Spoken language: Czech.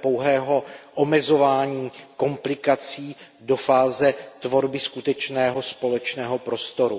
pouhého omezování komplikací do fáze tvorby skutečného společného prostoru.